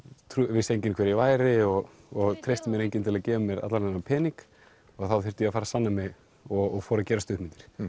vissi enginn hver ég væri og treysti mér enginn til að gefa mér allan þennan pening og þá þurfti ég að fara að sanna mig og fór að gera stuttmyndir